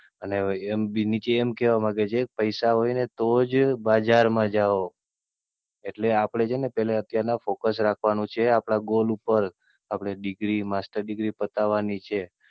અને નીચે એમ કેહવા માંગે છે, પૈસા હોય ને તોજ બજાર મા જાઓ એટલે આપડે છે ને પહેલા Focus રાખવાનું છે, આપડા Goal ઉપર. આપડે DegreeMaster degree પતાવાની છે.